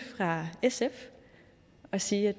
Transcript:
fra sf og sige